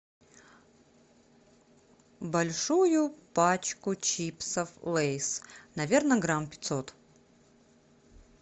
большую пачку чипсов лейс наверное грамм пятьсот